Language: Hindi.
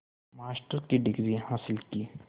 मास्टर की डिग्री हासिल की